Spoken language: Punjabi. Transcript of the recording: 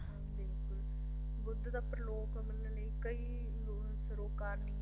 ਹਾਂਜੀ ਬਿਲਕੁਲ ਬੁੱਧ ਦਾ ਪਰਲੋਕ ਮੰਨਣ ਲਈ ਕਈ ਸਰੋਕਾਰਨੀਆਂ